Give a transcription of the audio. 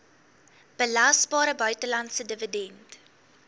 belasbare buitelandse dividend